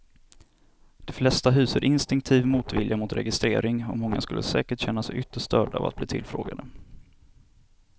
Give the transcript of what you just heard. De flesta hyser instinktiv motvilja mot registrering och många skulle säkert känna sig ytterst störda av att bli tillfrågade.